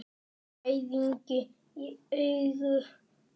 Gæðingi í eigu pabba.